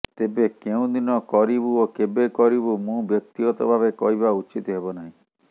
ତେବେ କେଉଁ ଦିନ କରିବୁ ଓ କେବେ କରିବୁ ମୁଁ ବ୍ୟକ୍ତିଗତ ଭାବେ କହିବା ଉଚିତ୍ ହେବ ନାହିଁ